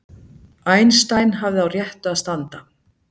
Einstein hafði á réttu að standa